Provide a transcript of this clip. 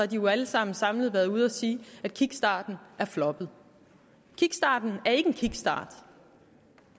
de jo alle sammen samlet været ude at sige at kickstarten er floppet kickstarten er ikke en kickstart